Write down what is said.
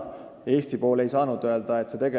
Eesti pool ei ole saanud öelda, et ollakse liitunud.